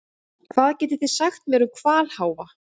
Hvað getið þið sagt mér um hvalháfa?